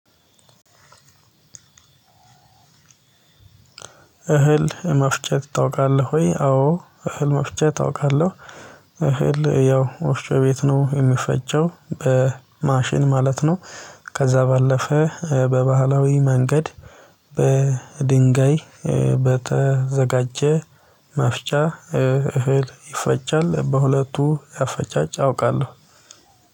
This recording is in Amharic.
እህል መፍጨት ታውቃለህ ወይ? አዎ እህል መፍጨት አውቃለሁ። እህል ያው ወፍጮ ቤት ነው የሚፈጨው በማሽን ማለት ነው። ከዛ ባለፈ በባህላዊ መንገድ በድንጋይ በተዘጋጀ መፍጫ እህል ይፈጫል። በሁለቱ አፈጫጭ አውቃለሁ።